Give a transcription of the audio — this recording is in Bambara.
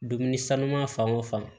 Dumuni sanuman fan o fan